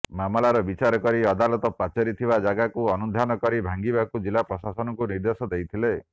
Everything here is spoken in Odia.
ମାମଲାର ବିଚାର କରି ଅଦାଲତ ପାଚେରି ଥିବା ଜାଗାକୁ ଅନୁଧ୍ୟାନ କରି ଭାଙ୍ଗିବାକୁ ଜିଲ୍ଲା ପ୍ରଶାସନକୁ ନିର୍ଦେଶ ଦେଇଥିଲେ